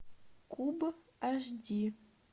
куб аш ди